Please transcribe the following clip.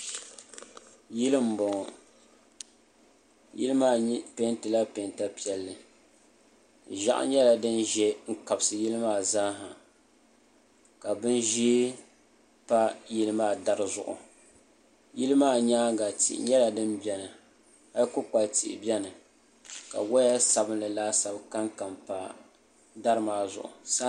Yili n bɔŋɔ yili maa mii peentila peenta piɛlli ʒiɛɣu nyɛla din ʒɛ n kabisi yili maa zaaha ka bin ʒiɛ pa yili maa dari zuɣu yili maa nyaanga tihi nyɛla din biɛni hali kpukpali tihi biɛni ka woya sabinli laasabu kanka pa dari maa zuɣu saa